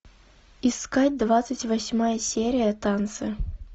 искать двадцать восьмая серия танцы